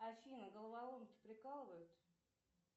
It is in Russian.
афина головоломки прикалывают